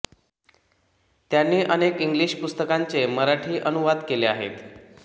त्यांनी अनेक इंग्लिश पुस्तकांचे मराठी अनुवाद केले आहेत